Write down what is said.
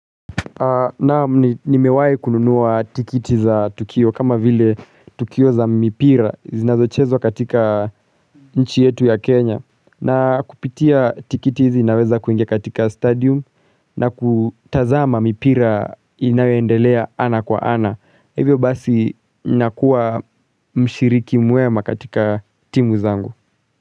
Naam, nimewahi kununua tikiti za Tukio kama vile Tukio za mipira zinazochezwa katika nchi yetu ya Kenya. Na kupitia tikiti hizi naweza kuingia katika stadium na kutazama mipira inayoendelea ana kwa ana. Hivyo basi nakuwa mshiriki mwema katika timu zangu.